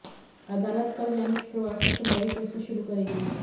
अदालत कल यानि शुक्रवार से सुनवाई फिर से शुरू करेगी